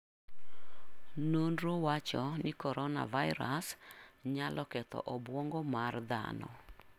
Nonro wacho ni coronavirus nyalo ketho obwongo mar dhano.